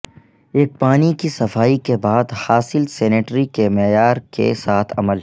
ایک پانی کی صفائی کے بعد حاصل سینیٹری کے معیار کے ساتھ عمل